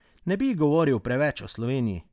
Ne bi govoril preveč o Sloveniji.